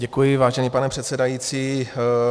Děkuji, vážený pane předsedající.